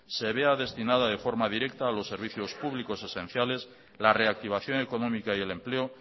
se vea destinada de forma directa a los servicios públicos esenciales la reactivación económica y el empleo